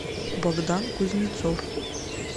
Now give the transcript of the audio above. богдан кузнецов